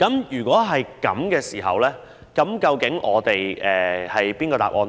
如果是這樣，究竟哪一種做法較為合理呢？